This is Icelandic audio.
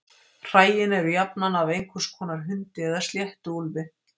Hræin eru jafnan af einhvers konar hundi eða sléttuúlfi.